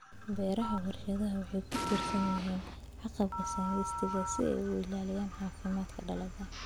Beeraha warshaduhu waxay ku tiirsan yihiin agabka synthetic si ay u ilaaliyaan caafimaadka dalagga.